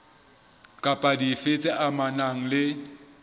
kapa dife tse amanang le